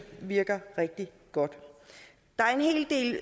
virker rigtig godt